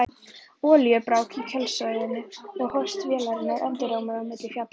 Olíubrák í kjölsoginu og hósti vélarinnar endurómaði á milli fjalla.